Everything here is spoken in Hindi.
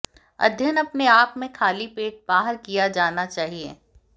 अध्ययन अपने आप में खाली पेट बाहर किया जाना चाहिए